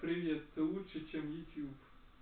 привет ты лучше чем ютуб